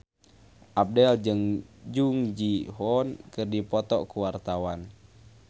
Abdel jeung Jung Ji Hoon keur dipoto ku wartawan